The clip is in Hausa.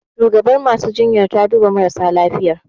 Shugabar masu jinyar ta duba halin marasa lafiyar